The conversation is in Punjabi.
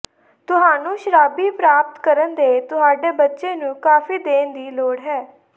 ਤੁਹਾਨੂੰ ਸ਼ਰਾਬੀ ਪ੍ਰਾਪਤ ਕਰਨ ਦੇ ਤੁਹਾਡੇ ਬੱਚੇ ਨੂੰ ਕਾਫ਼ੀ ਦੇਣ ਦੀ ਲੋੜ ਹੈ